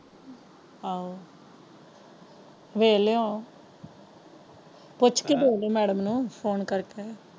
ਆਹੋ ਵੇਖ ਲਾਇਓ ਪੁੱਛ ਕੇ ਵੇਖ ਲੋ ਮੈਡਮ ਨੂੰ ਫੋਨ ਕਰਕੇ।